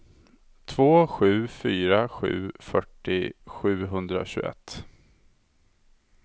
två sju fyra sju fyrtio sjuhundratjugoett